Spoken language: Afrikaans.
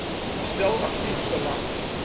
stel aktief belang